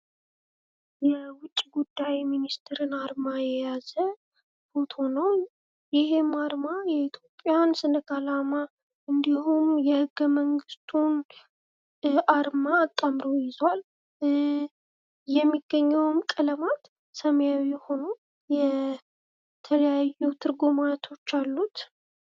የውጭ ጉዳይ ሚኒስተር አርማን የያዘ አርማ ፎቶ ነው። ይሄም አርማ የኢትዮጵያን ሰንደቅ አላማ እንዲሁም የህገመንግስቱን አርማ አጣምሮ ይዟል። የሚገኘውም ቀለማት ሰማያዊ ሁኖ የተለያዩ ትርጉማቶች አሉት።